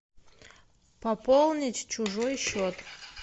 пополнить чужой счет